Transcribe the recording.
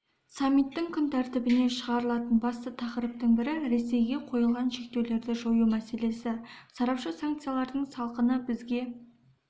саммиттің күн тәртібіне шығарылатын басты тақырыптың бірі ресейге қойылған шектеулерді жою мәселесі сарапшы санкциялардың салқыны бізге